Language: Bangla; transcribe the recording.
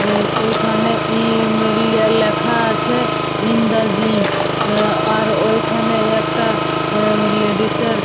এখানে ই এ লে লে লেখা আছে ইন দা জিম আর ঐখানে একটা লেডিসে এর--